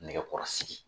Nɛgɛkɔrɔsigi